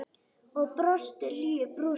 Og brosti hlýju brosi.